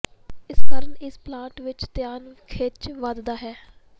ਇਸ ਕਾਰਨ ਇਸ ਪਲਾਂਟ ਵੱਲ ਧਿਆਨ ਖਿੱਚ ਵਧਦਾ ਹੈ